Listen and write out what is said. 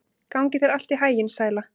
Gangi þér allt í haginn, Sæla.